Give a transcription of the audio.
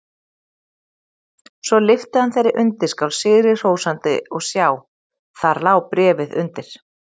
Svo lyfti hann þeirri undirskál sigri hrósandi og sjá: Þar lá bréfið undir!